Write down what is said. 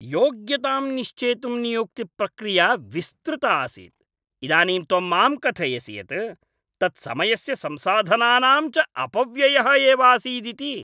योग्यतां निश्चेतुं नियुक्तिप्रक्रिया विस्तृता आसीत्, इदानीं त्वं माम् कथयसि यत् तत् समयस्य संसाधनानां च अपव्ययः एवासीदिति।